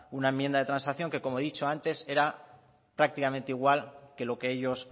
una enmienda de transacción que como he dicho antes era prácticamente igual que lo que ellos